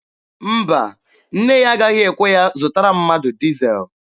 Mba, nne ya agaghị ekwe ya zụtara mmadụ dizel.